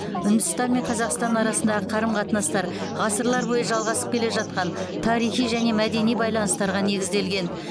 үндістан мен қазақстан арасындағы қарым қатынастар ғасырлар бойы жалғасып келе жатқан тарихи және мәдени байланыстарға негізделген